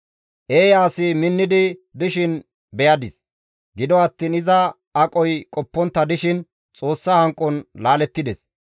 Eeya asi minnidi dishin beyadis; gido attiin iza aqoy qoppontta dishin Xoossa hanqon laalettides.